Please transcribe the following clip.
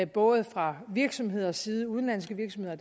både fra virksomheders side udenlandske virksomheder